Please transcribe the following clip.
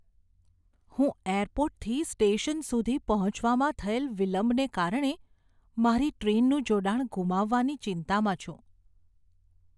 હું એરપોર્ટથી સ્ટેશન સુધી પહોંચવામાં થયેલ વિલંબને કારણે મારી ટ્રેનનું જોડાણ ગુમાવાની ચિંતામાં છું.